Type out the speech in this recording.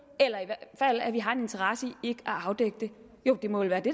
eller i hvert fald at vi har en interesse i ikke afdække det det må vel være det